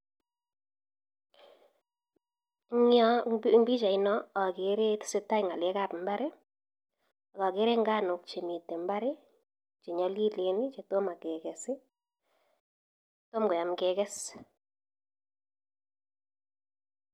Eng pichait noo akere tesetai ngalek ab ibaret ak akere nganuk che mitei ibar che nyolilen che tomo kekes